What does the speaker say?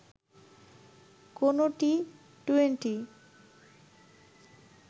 কোনো টি-টোয়েন্টি